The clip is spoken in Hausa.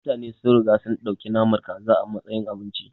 Mutane sun riga sun ɗauki naman kaza a matsayin abinci.